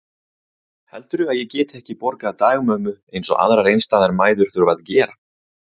Heldurðu að ég geti ekki borgað dagmömmu eins og aðrar einstæðar mæður þurfa að gera?